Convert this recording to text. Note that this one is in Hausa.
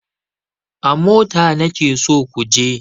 A mota nake so ku je!